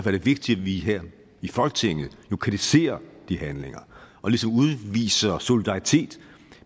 er det vigtigt at vi her i folketinget lokaliserer de handlinger og ligesom udviser solidaritet